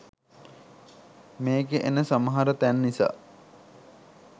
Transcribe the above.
මේකෙ එන සමහර තැන් නිසා